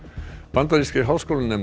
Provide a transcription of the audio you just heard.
bandarískir háskólanemar